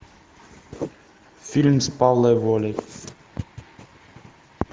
фильм с павлом волей